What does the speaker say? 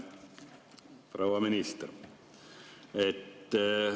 Hea proua minister!